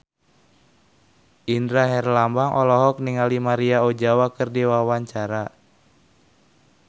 Indra Herlambang olohok ningali Maria Ozawa keur diwawancara